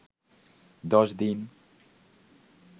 দশ দিন